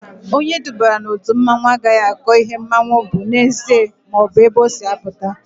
Onye edubara n'otu mmanwụ agaghị akọ ihe mmanwụ bụ n'ezie maọbụ ebe o si apụta